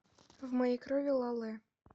в моей крови ла лэ